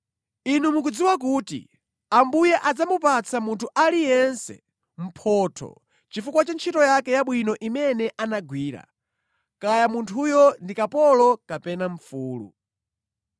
Inu mukudziwa kuti Ambuye adzamupatsa munthu aliyense mphotho chifukwa cha ntchito yake yabwino imene anagwira, kaya munthuyo ndi kapolo kapena mfulu.